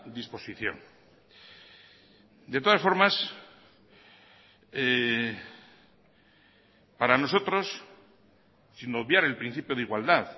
disposición de todas formas para nosotros sin obviar el principio de igualdad